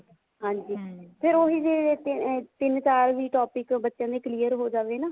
ਹਾਂਜੀ ਫ਼ੇਰ ਹੀ ਜੇ ਤਿੰਨ ਚਾਰ ਵੀ topic ਬੱਚਿਆਂ ਦੇ clear ਹੋ ਜਾਵੇ ਨਾ